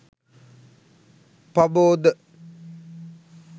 paboda